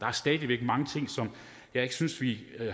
er stadig væk mange ting som jeg ikke synes vi